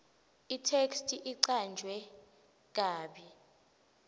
itheksthi icanjwe kabi